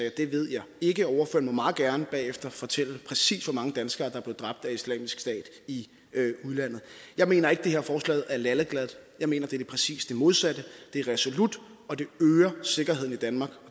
at det ved jeg ikke ordføreren må meget gerne bagefter fortælle præcis hvor mange danskere der er blevet dræbt af islamisk stat i udlandet jeg mener ikke at det her forslag er lalleglad jeg mener at det er præcis det modsatte det er resolut og det øger sikkerheden i danmark